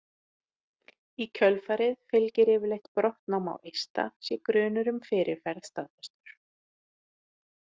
Í kjölfarið fylgir yfirleitt brottnám á eista sé grunur um fyrirferð staðfestur.